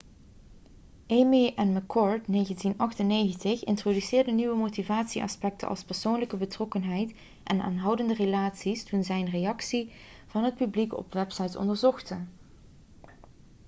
eighmey en mccord 1998 introduceerden nieuwe motivatieaspecten als 'persoonlijke betrokkenheid' en 'aanhoudende relaties' toen zij reacties van het publiek op websites onderzochten